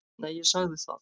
Nei, ég sagði það.